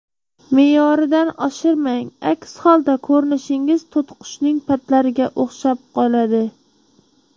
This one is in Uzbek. Me’yoridan oshirmang, aks holda ko‘rinishingiz to‘tiqushning patlariga o‘xshab qoladi.